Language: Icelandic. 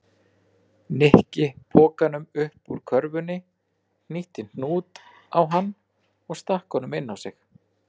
Nikki pokanum upp úr körfunni, hnýtti hnút á hann og stakk honum inn á sig.